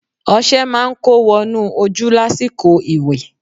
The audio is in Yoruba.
Ọṣẹ máa ń kó wọnú ojú lásìkò ìwẹ̀